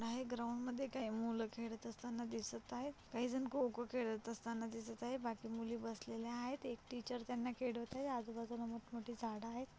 काही ग्राऊंड मध्ये मुल खेळत असताना दिसत आहेत. काही जन खो-खो खेळत असताना दिसत आहेत बाकी मुली बसलेल्या आहेत. एक टीचर त्यांहा खेडवत आहे आजू बाजू ला मोठ-मोठी झाड आहेत.